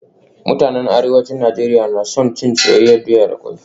Mutanen Arewacin Najeriya na son cin soyayyen doya da kwai